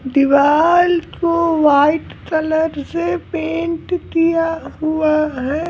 दीवाल को white colour से पेंट किया हुआ है।